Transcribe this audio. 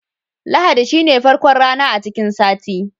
Lahadi shine farkon rana a cikin sati.